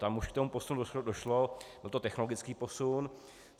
Tam už k tomu posunu došlo, byl to technologický posun.